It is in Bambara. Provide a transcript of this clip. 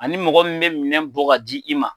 Ani mɔgɔ min bɛ minɛ bɔ di i ma.